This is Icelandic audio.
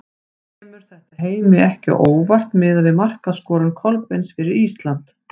Kemur þetta Heimi ekki á óvart miðað við markaskorun Kolbeins fyrir Ísland?